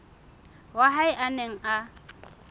wa hae a neng a